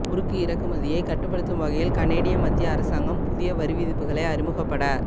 உருக்கு இறக்குமதியை கட்டுப்படுத்தும் வகையில் கனேடிய மத்திய அரசாங்கம் புதிய வரிவிதிப்புகளை அறிமுகப்பட